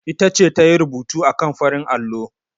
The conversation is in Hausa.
Ita ce ta yi rubutu akan farin allo.